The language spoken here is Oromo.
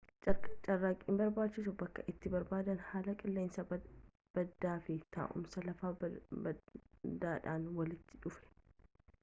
carraaqqiin barbaacha bakkee itti barbadaa'e haala qilleensa badaa fi taa'umsa lafaa badaadhaan walitti dhufe